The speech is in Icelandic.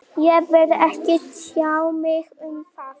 Ég vil ekki tjá mig um það